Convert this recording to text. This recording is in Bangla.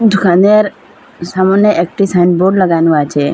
দোকানের সামনে একটি সাইনবোর্ড লাগানো আছে।